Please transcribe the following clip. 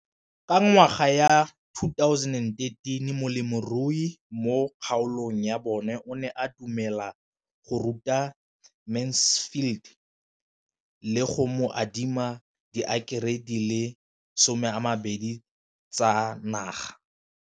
Ka ngwaga wa 2013, molemirui mo kgaolong ya bona o ne a dumela go ruta Mansfield le go mo adima di heketara di le 12 tsa naga.